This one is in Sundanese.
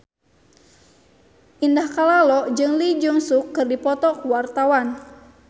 Indah Kalalo jeung Lee Jeong Suk keur dipoto ku wartawan